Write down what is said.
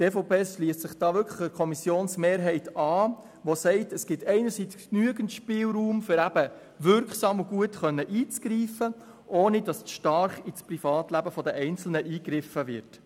Die EVP schliesst sich der Kommissionsmehrheit an, die sagt: Es gibt genügend Spielraum, um wirksam und gut eingreifen zu können, ohne dass zu stark in das Privatleben der Einzelnen eingegriffen wird.